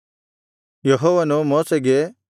ಯೆಹೋವನು ಮೋಶೆಗೆ